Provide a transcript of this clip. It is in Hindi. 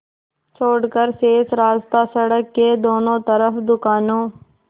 छोड़कर शेष रास्ता सड़क के दोनों तरफ़ दुकानों